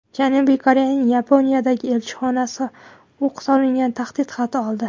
Janubiy Koreyaning Yaponiyadagi elchixonasi o‘q solingan tahdid xati oldi.